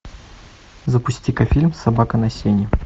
запусти ка фильм собака на сене